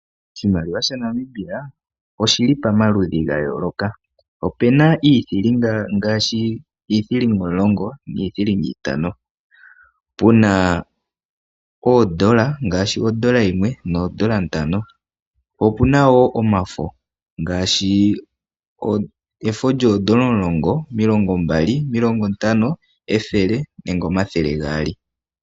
Oshimaliwa shaNamibia oshili pomaludhi gayoloka, opena iithiliga gashi iithiliga omulongo iithiliga itano. Puna oondola, ngashi ondola yimwe noondola ntano. Po opunawo omafo, ngashi efo lyoondola omulongo, omilongo mbali, omilongo ntano, ethele nenge omathele gaali.